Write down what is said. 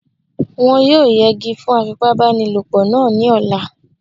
Wọ́n yóò yẹgi fún afipábanílòpọ̀ náà ní ọ̀la